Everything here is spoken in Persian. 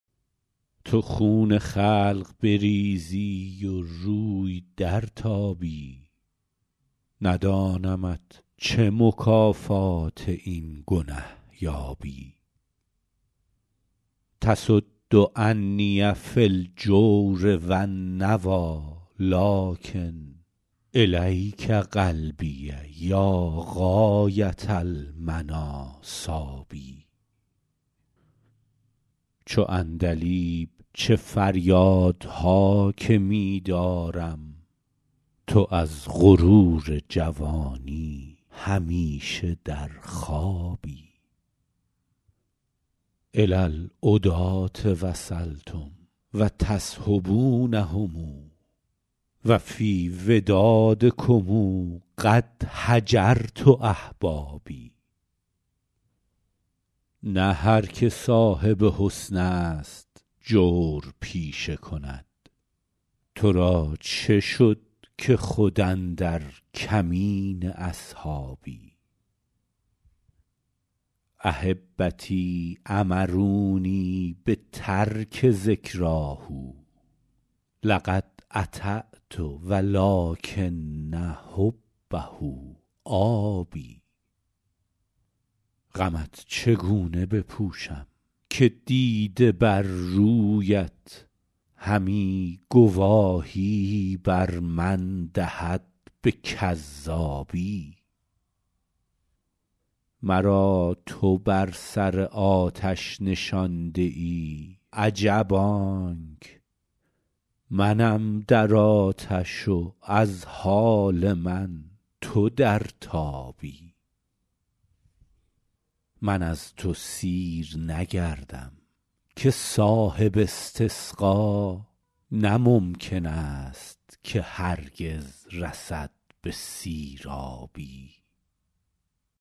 تو خون خلق بریزی و روی درتابی ندانمت چه مکافات این گنه یابی تصد عنی فی الجور و النویٰ لٰکن إلیک قلبی یا غایة المنیٰ صاب چو عندلیب چه فریادها که می دارم تو از غرور جوانی همیشه در خوابی إلی العداة وصلتم و تصحبونهم و فی ودادکم قد هجرت أحبابی نه هر که صاحب حسن است جور پیشه کند تو را چه شد که خود اندر کمین اصحابی أحبتی أمرونی بترک ذکراه لقد أطعت و لٰکن حبه آب غمت چگونه بپوشم که دیده بر رویت همی گواهی بر من دهد به کذابی مرا تو بر سر آتش نشانده ای عجب آنک منم در آتش و از حال من تو در تابی من از تو سیر نگردم که صاحب استسقا نه ممکن است که هرگز رسد به سیرابی